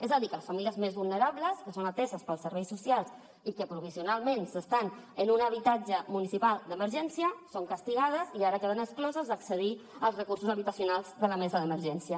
és a dir que les famílies més vulnerables que són ateses pels serveis socials i que provisionalment s’estan en un habitatge municipal d’emergència són castigades i ara queden excloses d’accedir als recursos habitacionals de la mesa d’emergència